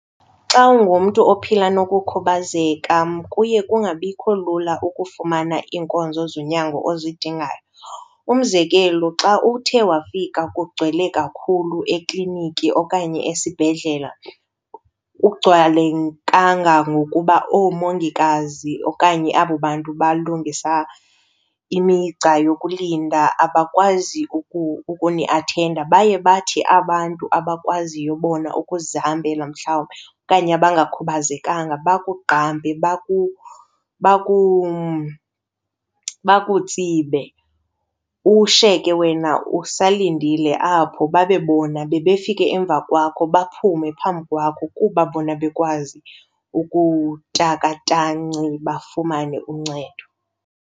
Xa ungumntu ophila nokukhubazeka kuye kungabikho lula ukufumana iinkonzo zonyango ozidingayo. Umzekelo xa uthe wafika kugcwele kakhulu ekliniki okanye esibhedlela, kugcwale kangangokuba oomongikazi okanye abo bantu balungisa imigca yokulinda abakwazi ukuniathenda, baye bathi abantu abakwaziyo bona ukuzihambela mhlawumbi okanye abangakhubazekanga bakugqampe bakutsibe. Ushiyeke wena usalindile apho babe bona bebefika emva kwakho baphume phambi kwakho kuba bona bekwazi ukutaka tanci bafumane uncedo.